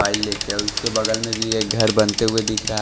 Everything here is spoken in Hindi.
और उसके बगल में भी एक घर बनते हुए दिख रहा --